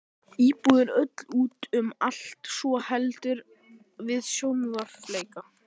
Íbúðin öll út um allt svo heldur við sjóveiki.